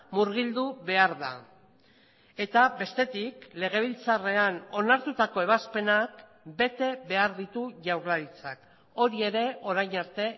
murgildu behar da eta bestetik legebiltzarrean onartutako ebazpenak bete behar ditu jaurlaritzak hori ere orain arte